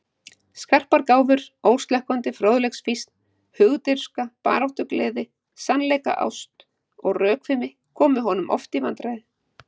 Skarpar gáfur, óslökkvandi fróðleiksfýsn, hugdirfska, baráttugleði, sannleiksást og rökfimi komu honum oft í vandræði.